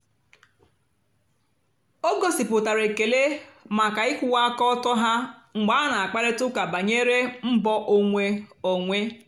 o gòsíputàra èkélè maka ị̀kwụ́wà àka ọ́tọ́ ha mgbe a na-àkpárị̀ta ụ́ka bànyèrè mbọ́ onwé onwé.